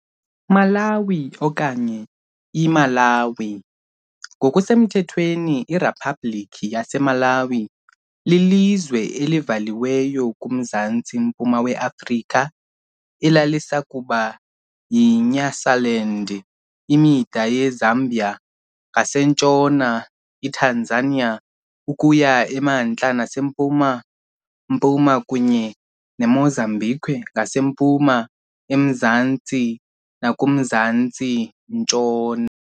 Malawi okanye, IMalaŵi, ngokusemthethweni iRiphabhlikhi yaseMalawi, lilizwe elivaliweyo kuMzantsi-mpuma weAfrika elalisakuba yiNyasaland. Imida yeZambia ngasentshona, iTanzania ukuya emantla nasempuma-mpuma, kunye neMozambique ngasempuma, emazantsi nakumazantsi-ntshona.